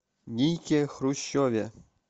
нике хрущеве